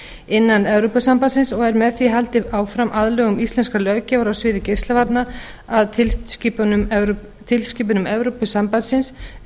innan evrópusambandsins og er með því haldið áfram aðlögun íslenskrar löggjafar á sviði geislavarna að tilskipunum evrópusambandsins um